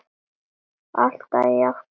Alltaf jafn gaman!